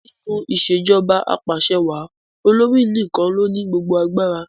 Nínú ìṣèjọba apàṣewàá, olórí nìkan ló ní gbogbo agbára.